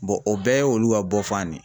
o bɛɛ ye olu ka bɔfan de ye.